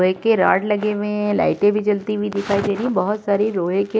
लोहे के रॉड लगे हुए हैं। लाइटे भी जलती हुई दिखाई दे रही हैं। बहुत सारी लोहे के --